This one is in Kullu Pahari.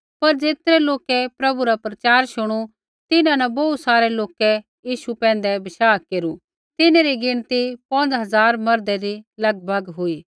पर ज़ेतरै लोकै प्रभु रा प्रचार शुणू तिन्हां न बोहू सारै लोकै यीशु पैंधै बशाह केरू तिन्हरी गिणती पौंज़ हज़ार मर्दै रै लगभग हुई